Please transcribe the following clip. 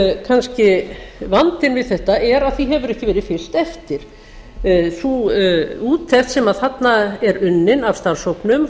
kannski vandinn við þetta er að því hefur ekki verið fylgt eftir sú úttekt sem þarna er unnin af starfshópnum